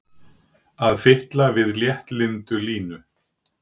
Að fitla við léttlyndu Línu!